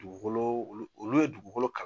Dugukolo olu olu ye dugukolo kalan